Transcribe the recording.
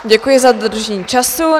Děkuji za dodržení času.